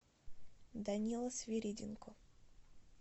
данила свириденко